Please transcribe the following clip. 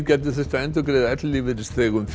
gæti þurft að endurgreiða ellilífeyrisþegum